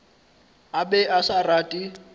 a be a sa rate